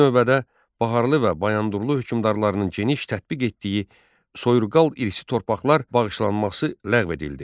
İlk növbədə Baharlı və Bayandurlu hökmdarlarının geniş tətbiq etdiyi soyurqal irsi torpaqlar bağışlanması ləğv edildi.